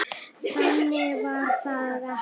Þannig var það ekki.